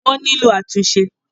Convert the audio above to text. wọ́n nílò àtúnṣe.